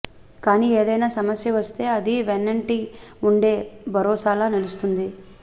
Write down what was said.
కానీ ఏదైనా సమస్య వస్తే అది వెన్నంటి ఉండే భరోసాలా నిలుస్తుంది